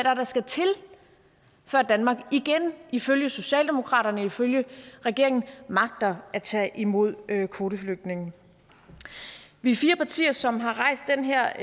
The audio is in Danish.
er der skal til før danmark igen ifølge socialdemokraterne og ifølge regeringen magter at tage imod kvoteflygtninge vi er fire partier som har rejst den her